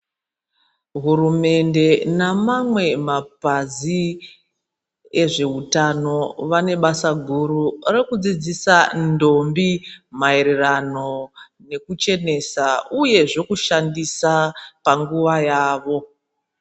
Hurumende namamwe mapazi ezvehutano vanebasa guru rekudzidzisa ndombi maererano nekuchenesa, uye zvekushandisa panguva yavo.